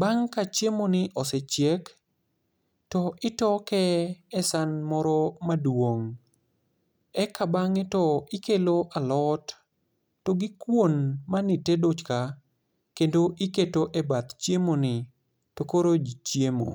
Bang' ka chiemo ni osechiek to itoke e san moro maduong'. Eka bang'e to ikelo alot, to gi kuon mane itedo ka, kendo iketo e bath chiemo ni, to koro ji chiemo.